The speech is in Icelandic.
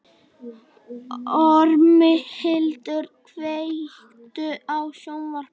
Ormhildur, kveiktu á sjónvarpinu.